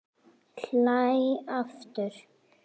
Hlæ aftur.